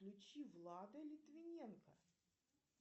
включи влада литвиненко